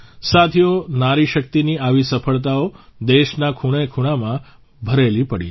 સાથીઓ નારીશક્તિની આવી સફળતાઓ દેશના ખૂણેખૂણામાં ભરેલી પડી છે